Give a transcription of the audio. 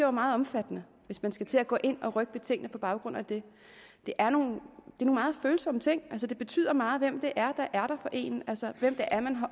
er meget omfattende hvis man skal til at gå ind og rykke ved tingene på baggrund af det det er nogle meget følsomme ting altså det betyder meget hvem det er der er der for en altså hvem det er man har